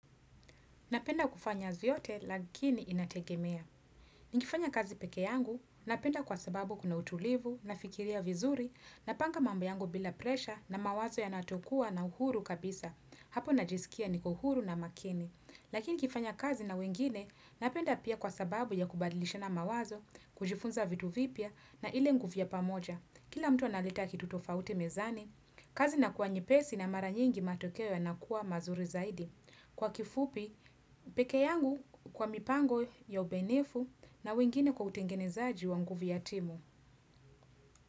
Napenda kufanya vyote lakini inategemea. Nikifanya kazi peke yangu, napenda kwa sababu kuna utulivu, nafikiria vizuri, napanga mambo yangu bila presha na mawazo yana to kuwa na uhuru kabisa. Hapo najisikia niko huru na makini. Lakini nikifanya kazi na wengine, napenda pia kwa sababu ya kubadilishana mawazo, kujifunza vitu vipya na ile nguvu ya pamoja. Kila mtu analeta kitu tofauti mezani, kazi inakuwa nyepesi na mara nyingi matokeo yanakuwa mazuri zaidi. Kwa kifupi, peke yangu kwa mipango ya ubenifu na wengine kwa utengenezaji wa nguvu ya timu.